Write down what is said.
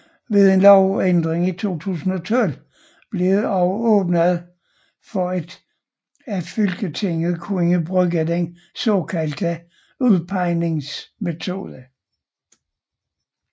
Ved en lovændring i 2012 blev det også åbnet for at fylkestinget kunne bruge den såkaldte udpegingsmetode